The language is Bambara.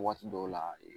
Waati dɔw la